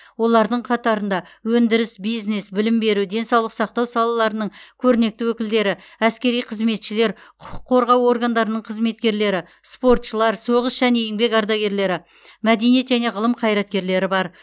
олардың қатарында өндіріс бизнес білім беру денсаулық сақтау салаларының көрнекті өкілдері әскери қызметшілер құқық қорғау органдарының қызметкерлері спортшылар соғыс және еңбек ардагерлері мәдениет және ғылым қайраткерлері бар